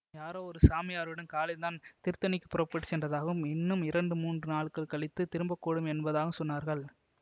யாரோ ஒரு சாமியாருடன் காலையில்தான் திருத்தணிக்குப் புறப்பட்டு சென்றதாகவும் இன்னும் இரண்டு மூன்று நாள் கழித்துத் திரும்பக்கூடும் என்பதாகவும் சொன்னார்கள்